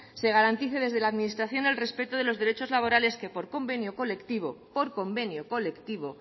se garantice desde la administración el respeto de los derechos laborales que por convenio colectivo por convenio colectivo